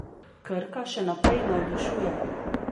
Krka še naprej navdušuje.